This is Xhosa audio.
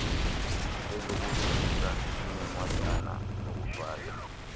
lezobulungisa linencwadana ngokufaka